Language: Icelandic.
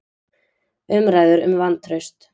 Umræður um vantraust